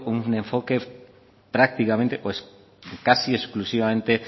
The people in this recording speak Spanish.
un enfoque prácticamente o casi exclusivamente